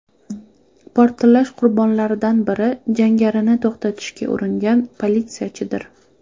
Portlash qurbonlaridan biri jangarini to‘xtatishga uringan politsiyachidir.